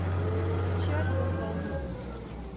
включи альбом волны